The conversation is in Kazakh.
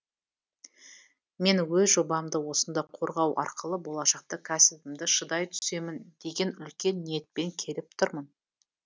мен өз жобамды осында қорғау арқылы болашақта кәсібімді шыдай түсемін деген үлкен ниетпен келіп тұрмын